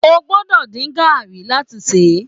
O gbọ́dọ̀ dín gàrí láti ṣe é.